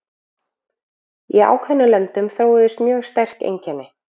Í ákveðnum löndum þróuðust mjög sterk einkenni.